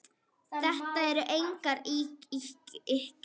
Þetta eru engar ýkjur.